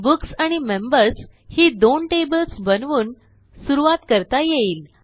books आणि members ही दोन टेबल्स बनवून सुरूवात करता येईल